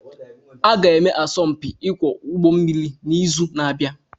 Aga-eme asọmpi ịkwọ ụgbọ mmiri n'izu na-abịa